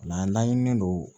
an laɲininen don